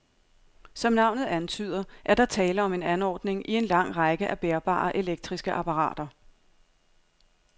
Som navnet antyder, er der tale om en anordning i en lang række af bærbare elektriske apparater.